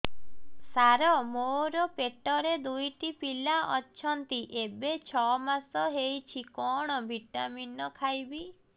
ସାର ମୋର ପେଟରେ ଦୁଇଟି ପିଲା ଅଛନ୍ତି ଏବେ ଛଅ ମାସ ହେଇଛି କଣ ଭିଟାମିନ ଖାଇବି